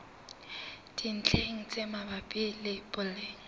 dintlheng tse mabapi le boleng